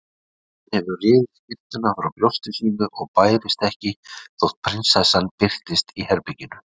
Hann hefur rifið skyrtuna frá brjósti sínu og bærist ekki þótt barónessan birtist í herberginu.